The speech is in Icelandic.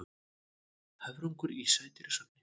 Höfrungur í sædýrasafni.